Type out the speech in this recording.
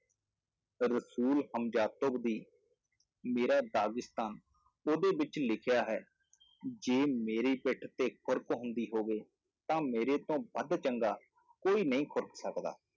ਰਸੂਲ ਦੀ ਮੇਰਾ ਉਹਦੇ ਵਿੱਚ ਲਿਖਿਆ ਹੈ ਜੇ ਮੇਰੀ ਪਿੱਠ ਤੇ ਖੁਰਕ ਹੁੰਦੀ ਹੋਵੇ ਤਾਂ ਮੇਰੇ ਤੋਂ ਵੱਧ ਚੰਗਾ ਕੋਈ ਨਹੀਂ ਖੁਰਕ ਸਕਦਾ।